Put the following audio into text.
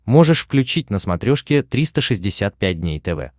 можешь включить на смотрешке триста шестьдесят пять дней тв